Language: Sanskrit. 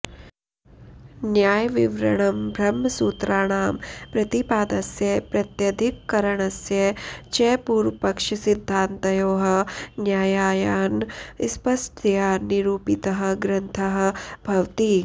न्यायविवरणं ब्रह्मसूत्राणां प्रतिपादस्य प्रत्यधिकरणस्य च पूर्वपक्षसिद्धान्तयोः न्यायान् स्पष्टतया नीरूपितः ग्रन्थः भवति